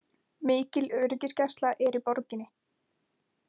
Mikil öryggisgæsla er í borginni